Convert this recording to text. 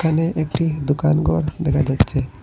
এখানে একটি দোকানঘর দেখা যাচ্ছে।